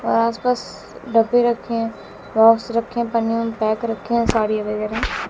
और आसपास डब्बे रखें हैं रखे हैं पन्नियों में पैक रखे हैं साड़ी वगैरह।